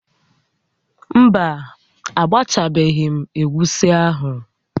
Mba, agbachabeghị m egusi ahụ